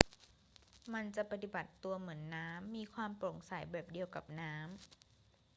มันจะปฏิบัติตัวเหมือนน้ำ มีความโปร่งใสแบบเดียวกับน้ำ